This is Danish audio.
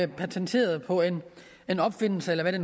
patent på en opfindelse eller hvad det